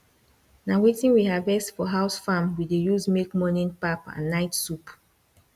na wetin we harvest for house farm we dey use make morning pap and night soup